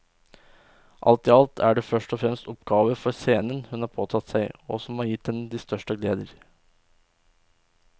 Alt i alt er det først og fremst oppgaver for scenen hun har påtatt seg og som har gitt henne de største gleder.